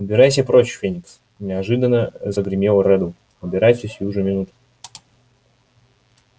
убирайся прочь феникс неожиданно загремел реддл убирайся сию же минуту